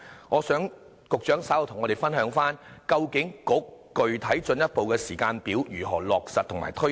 我想局長稍後與我們分享，究竟具體進一步的時間表如何落實和推展。